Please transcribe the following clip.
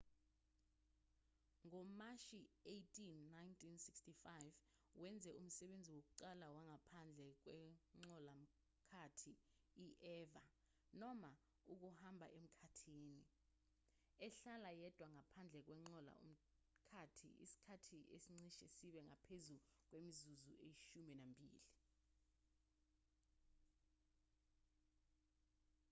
ngomashi-18 1965 wenze umsebenzi wokuqala wangaphandle kwenqola-mkhathi i-eva noma ukuhamba emkhathini ehlala yedwa ngaphandle kwenqola-mkhathi isikhathi esicishe sibe ngaphezu kwemizuzu eyishumi nambili